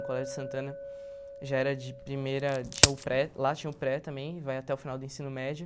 O Colégio Santana já era de primeira tinha o pré... Lá tinha o pré também, vai até o final do ensino médio.